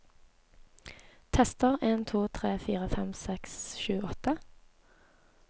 Tester en to tre fire fem seks sju åtte